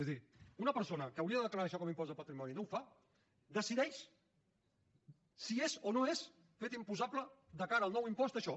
és a dir una persona que hauria de declarar això com a impost de patrimoni i no ho fa decideix si és o no és fet imposable de cara al nou impost això